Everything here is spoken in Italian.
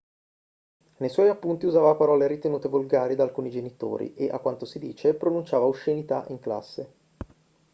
nei suoi appunti usava parole ritenute volgari da alcuni genitori e a quanto si dice pronunciava oscenità in classe